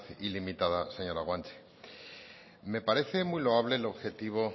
ilimitada señora guanche me parece muy loable el objetivo